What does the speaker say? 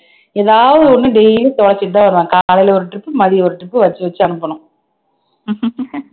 ஏதாவது ஒண்ணு daily தொலைச்சிட்டுதான் வருவான் காலையில ஒரு trip மதியம் ஒரு trip வச்சு வச்சு அனுப்பணும்